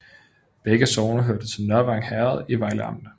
Begge sogne hørte til Nørvang Herred i Vejle Amt